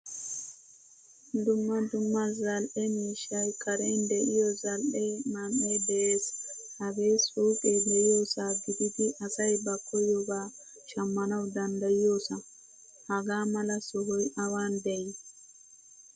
Dumma dumma zal'e miishshay karen deiyo zal'e man'ee de'ees. Hagee suuqe deiyosa gididi asay ba koyoba shamanwu danddayiyosa. Hagaa mala sohoy awan dei?